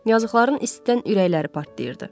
Yazıqların istidən ürəkləri partlayırdı.